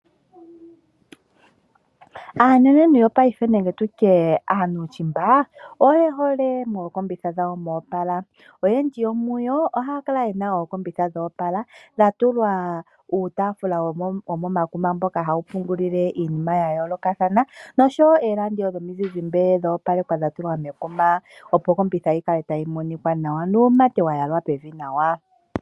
Aanenentu yo piafe nenge tutye aanushimba, oye hole mookombitha dhawo mwa opala. Oyendji yomuyo ohaya kale yena ookombitha dha opala, tha tulwa uutafula womomakuma mboka hawu pungulile iinima ya yoolokathana noshowo ooradio dhomizizimbe dha opalekwa dha tulwa mekuma. Opo okombitha yi kale tayi monika nawa, nuumate wa yalwa pevi nawa.